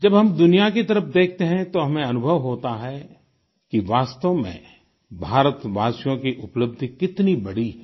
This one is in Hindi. जब हम दुनिया की तरफ देखते हैं तो हमें अनुभव होता है कि वास्तव में भारतवासियों की उपलब्धि कितनी बड़ी है